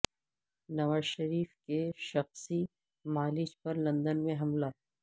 نواز شریف کے شخصی معالج پر لندن میں حملہ